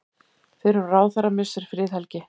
Fyrrum ráðherra missir friðhelgi